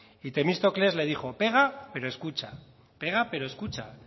y temístocles le dijo pega pero escucha pega pero escucha